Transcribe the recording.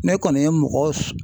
Ne kɔni ye mɔgɔ